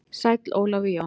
Sæll Ólafur Jón.